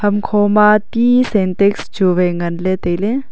hamkho ma ti sentax chu vai nganang kapley.